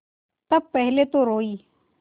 तब पहले तो रोयी